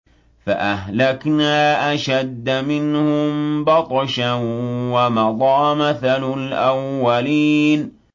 فَأَهْلَكْنَا أَشَدَّ مِنْهُم بَطْشًا وَمَضَىٰ مَثَلُ الْأَوَّلِينَ